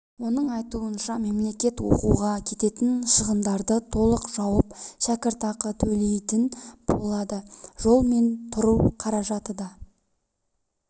оның айтуынша мемлекет оқуға кететін шығындарды толық жауып шәкіртақы төлейтін болады жол мен тұру қаражаты да